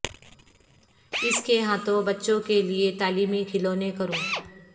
اس کے ہاتھوں بچوں کے لئے تعلیمی کھلونے کروں